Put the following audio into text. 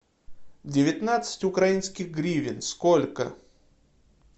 девятнадцать украинских гривен сколько